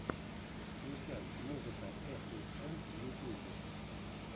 включай музыка э плюс эм в ютюбе